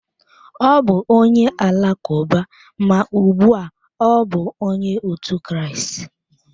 Ọ bụ onye Alakụba, ma ugbu a ọ bụ Onye otu Kraịst.